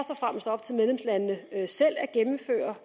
op til medlemslandene selv at gennemføre